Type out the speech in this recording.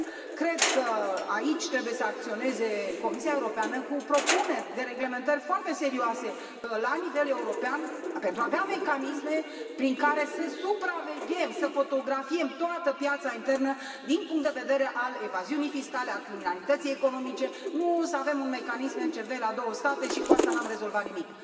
Cred că aici trebuie să acționeze Comisia Europeană cu propuneri de reglementări foarte serioase la nivel european pentru a avea mecanisme prin care să supraveghem, să fotografiem toată piața internă din punct de vedere al evaziunii fiscale, al criminalității economice, nu să avem un mecanism MCV la două state și cu asta nu am rezolvat nimic.